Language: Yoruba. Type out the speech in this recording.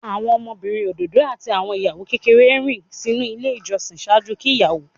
Awọn ọmọbirin ododo ati awọn iyawo kekere rin sinu ile ijọsin ṣaaju ki iyawo.